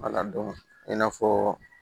i n'a fɔ